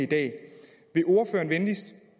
dag vil ordføreren venligst